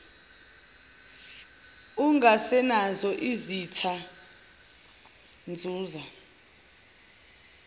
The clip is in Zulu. ungasenazo izitha nzuza